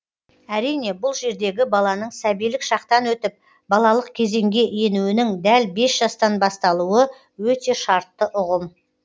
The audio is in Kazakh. әрине бұл жердегі баланың сәбилік шақтан өтіп балалық кезеңге енуінің дәл бес жастан басталуы өте шартты ұғым